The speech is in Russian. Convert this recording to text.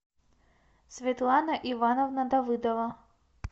светлана ивановна давыдова